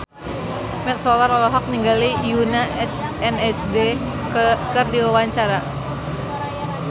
Mat Solar olohok ningali Yoona SNSD keur diwawancara